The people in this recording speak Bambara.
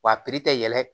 Wa a tɛ yɛlɛ